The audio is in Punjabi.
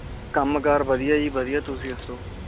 ਕਾਮ ਕਰ ਵਧੀਆ ਜੀ ਵਧੀਆ ਤੁਸੀ ਦਸੋ